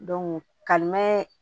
kalimɛ